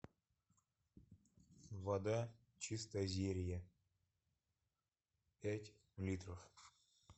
вода чистозерье пять литров